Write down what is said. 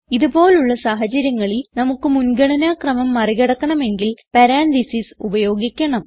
ഇത് പോലുള്ള സാഹചര്യങ്ങളിൽ നമുക്ക് മുൻഗണന ക്രമം മറികടക്കണമെങ്കിൽ പരാൻതീസിസ് ഉപയോഗിക്കണം